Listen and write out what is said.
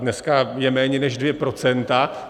Dneska je méně než dvě procenta.